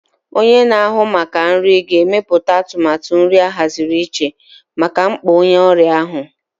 Onye na-ahụ maka nri ga-emepụta atụmatụ nri ahaziri iche maka mkpa onye ọrịa ahụ.